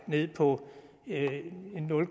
ned på nul